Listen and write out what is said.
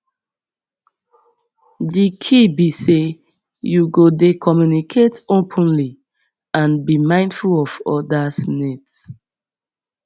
di key be say you go dey communicate openly and be mindful of odas needs